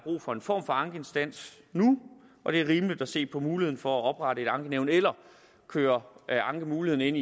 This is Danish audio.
for en form for ankeinstans nu og det er rimeligt at se på muligheden for at oprette et ankenævn eller køre ankemuligheden